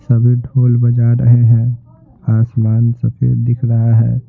सभी ढोल बजा रहे हैं आसमान सफेद दिख रहा है।